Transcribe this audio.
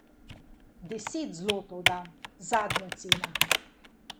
Deset zlotov dam, zadnja cena!